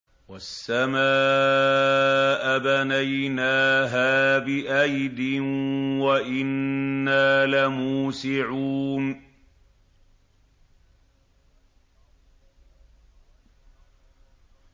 وَالسَّمَاءَ بَنَيْنَاهَا بِأَيْدٍ وَإِنَّا لَمُوسِعُونَ